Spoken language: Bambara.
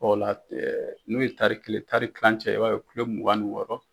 Ɔn o la, ɛɛ n'u ye tarai kelen tari kilancɛ i b'a ye kulo mugan ni wɔɔrɔ.